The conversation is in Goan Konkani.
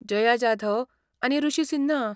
जया जाधव आनी ऋषी सिन्हा